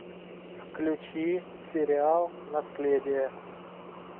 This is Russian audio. включи сериал наследие